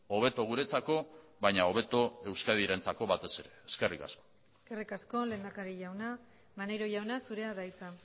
hobeto guretzako baina hobeto euskadirentzako batez ere eskerrik asko eskerrik asko lehendakari jauna maneiro jauna zurea da hitza